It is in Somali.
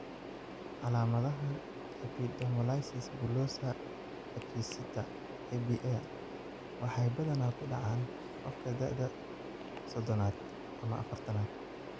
Calaamadaha epidermolysis bullosa acquisita (EBA) waxay badanaa ku dhacaan qofka da'da sodhonaad ama afartanaad.